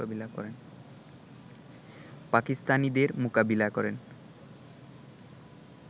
পাকিস্তানিদের মোকাবিলা করেন